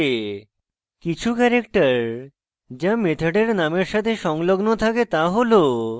কিছু ক্যারেক্টার যা মেথডের নামের সাথে সংলগ্ন থাকে তা হল